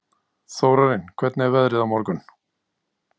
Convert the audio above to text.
Þórarinn, hvernig er veðrið á morgun?